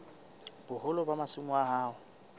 boholo ba masimo a hao